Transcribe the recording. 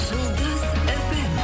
жұлдыз фм